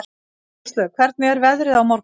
Róslaug, hvernig er veðrið á morgun?